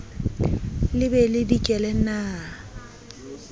le be le dikele na